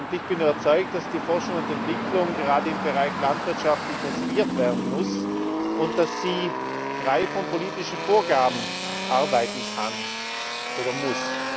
Ich bin überzeugt, dass die Forschung und Entwicklung gerade im Bereich Landwirtschaft intensiviert werden muss und dass sie frei von politischen Vorgaben arbeiten kann oder muss.